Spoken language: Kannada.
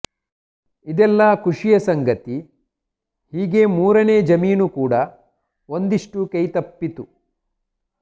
ಇದೆಲ್ಲಾ ಖುಷಿಯ ಸಂಗತಿ ಹೀಗೆ ಮೂರನೇ ಜಮೀನು ಕೂಡ ಒಂದಿಷ್ಟು ಕೈತಪ್ಪಿತು